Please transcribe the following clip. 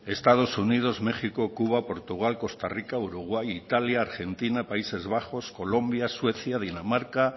estados unidos méxico cuba portugal costa rica uruguay italia argentina países bajos colombia suecia dinamarca